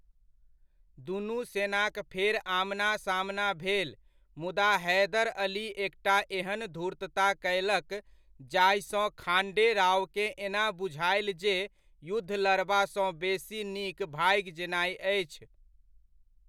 दुनू सेनाक फेर आमना सामना भेल मुदा हैदर अली एकटा एहन धूर्तता कयलक जाहिसँ खांडे रावकेँ एना बुझायल जे युद्ध लड़बासँ बेसी नीक भागि जेनाय अछि।